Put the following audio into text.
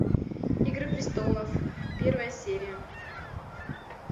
игры престолов первая серия